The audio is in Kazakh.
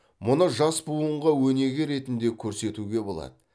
мұны жас буынға өнеге ретінде көрсетуге болады